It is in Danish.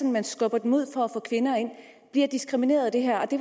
man skubber dem ud for at få kvinder ind bliver diskrimineret af det her og det